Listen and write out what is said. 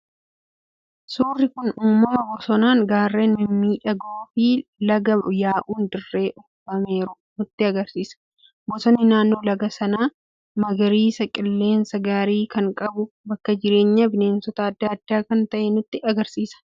Suurri kun uumama bosonaan, gaarreen mimmiidhagoo fi laga yaa'uun dirree uwwifameeru nutti argisiisa. Bosonni naannoo laga sanaa magariisa, qilleensa gaarii kan qabu, bakka jireenya bineensota adda addaa kan ta'e nutti argisiisa.